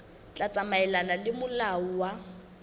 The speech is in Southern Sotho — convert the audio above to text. tla tsamaelana le molao wa